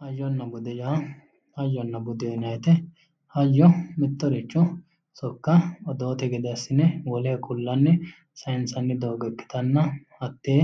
Hayyonna bude yaa hayyo yinayiweete mittoricho soka odoote gede assine woleho kula'ni sayinsanni doogo ikitanna hatee